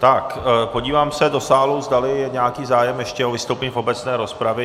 Tak podívám se do sálu, zdali je nějaký zájem ještě o vystoupení v obecné rozpravě.